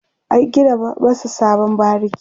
an gina masu sabon bariki